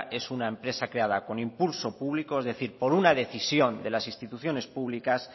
es una empresa creada con impulso público es decir por una decisión de las instituciones públicas